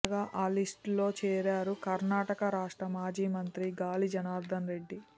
తాజాగా ఆ లిస్ట్లో చేరారు కర్ణాకట రాష్ట్ర మాజీ మంత్రి గాలిజనార్థనరెడ్డి